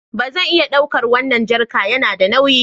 Ba zan iya ɗaukar wannan jerica, yana da nauyi